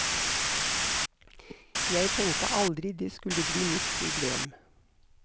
Jeg tenkte aldri det skulle bli mitt problem.